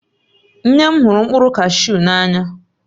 Nne m hụrụ mkpụrụ kashu n'anya